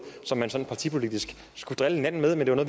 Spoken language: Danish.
man sådan partipolitisk skulle drille hinanden med men var